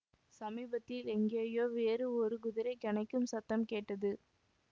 சமீபத்தில் எங்கேயோ வேறு ஒரு குதிரை கனைக்கும் சத்தம் கேட்டது